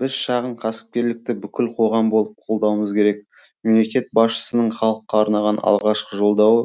біз шағын кәсіпкерлікті бүкіл қоғам болып қолдауымыз керек мемлекет басшысының халыққа арнаған алғашқы жолдауы